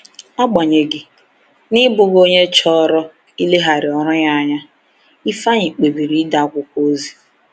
Agbanyeghị, n’ịbụghị onye chọrọ ileghara ọrụ ya anya, Ifeanyi kpebiri ide akwụkwọ ozi.